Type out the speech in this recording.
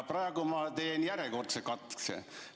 Praegu teen järjekordse katse.